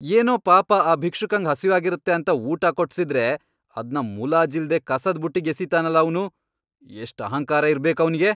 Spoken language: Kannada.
ಏನೋ ಪಾಪ ಆ ಭಿಕ್ಷುಕಂಗ್ ಹಸ್ವಾಗಿರತ್ತೆ ಅಂತ ಊಟ ಕೊಡ್ಸಿದ್ರೆ ಅದ್ನ ಮುಲಾಜಿಲ್ದೇ ಕಸದ್ ಬುಟ್ಟಿಗ್ ಎಸಿತಾನಲ ಅವ್ನು, ಎಷ್ಟ್ ಅಹಂಕಾರ ಇರ್ಬೇಕ್ ಅವ್ನಿಗೆ!